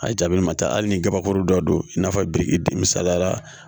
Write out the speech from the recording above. A jaabili ma taa hali ni kabakuru dɔ don i n'a fɔ biriki dimisara